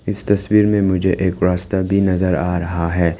इस तस्वीर में मुझे एक रास्ता भी नजर आ रहा है।